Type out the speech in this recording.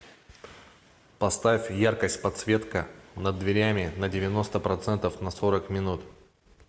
поставь яркость подсветка над дверями на девяносто процентов на сорок минут